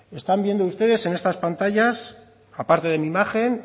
están viendo ustedes en estas pantallas a parte de mi imagen